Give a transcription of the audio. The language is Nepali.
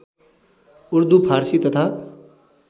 उर्दू फारसी तथा